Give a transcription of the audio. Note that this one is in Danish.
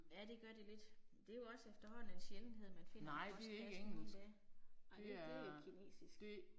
Ja det gør det lidt. Det er jo også efterhånden en sjældenhed man finder en postkasse nu om dage. Ej det det er kinesisk